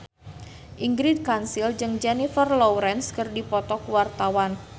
Ingrid Kansil jeung Jennifer Lawrence keur dipoto ku wartawan